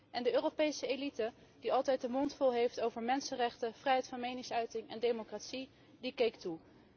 En de Europese elite, die altijd de mond vol heeft over mensenrechten, vrijheid van meningsuiting en democratie, keek toe.